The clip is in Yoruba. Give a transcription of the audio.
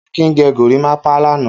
Akin gẹ gorímápá lánàá.